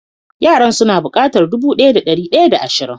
Yaran su na bukatar dubu daya da dari daya da asrin.